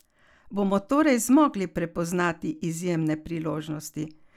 Bomo torej zmogli prepoznati izjemne priložnosti?